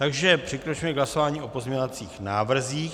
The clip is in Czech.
Takže přikročíme k hlasování o pozměňovacích návrzích.